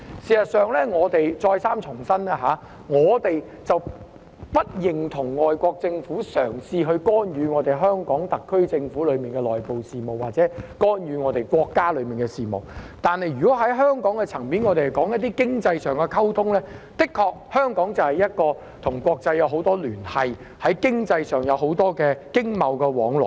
事實上，我們再三重申，我們不認同外國政府嘗試干預香港特區政府的內部事務或干預國家的內部事務，但香港在經濟層面的溝通方面，的確與國際有很多聯繫，在經濟方面有很多經貿往來。